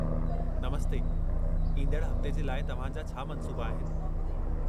नमस्ते, ईंदडु़ हफ़्ते जे लाइ तव्हां जा छा मंसूबा आहिनि?